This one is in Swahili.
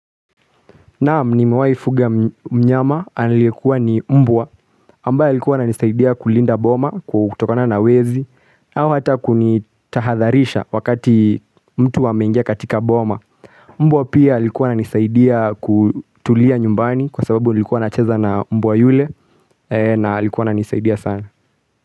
Naam nimewaifuga mnyama aliyekuwa ni mbwa ambae alikuwa ananisaidia kulinda boma kutokona na wezi au hata kunitahadharisha wakati mtu ameingia katika boma Mbwa pia alikuwa ananisaidia kutulia nyumbani kwa sababu nilikuwa nacheza na mbwa yule na alikuwa ananisaidia sana.